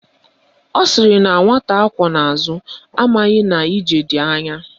Ọ sịrị na nwata akwọ n'azụ amaghị na ije dị anya